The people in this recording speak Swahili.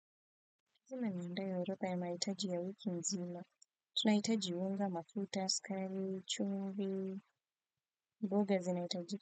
Ndio ropa ya mahitaji ya wiki nzima tunahitaji unga mafuta skari, chumvi, mboga zinahitajika.